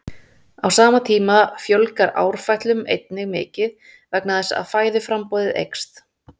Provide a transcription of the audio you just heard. Á sama tíma fjölgar árfætlum einnig mikið vegna þess að fæðuframboðið eykst.